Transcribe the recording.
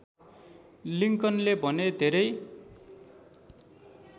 लिंकनले भने धेरै